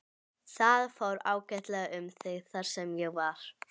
Það fór ágætlega um mig þar sem ég var.